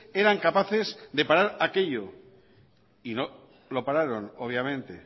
eran capaces de parar aquello y no lo pararon obviamente